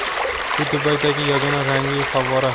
Bu Dubaydagi yagona rangli favvora.